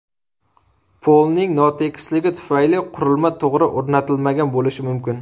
Polning notekisligi tufayli qurilma to‘g‘ri o‘rnatilmagan bo‘lishi mumkin.